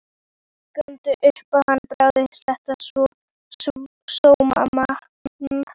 Ljúgandi upp á hann Bárð, þennan sómamann.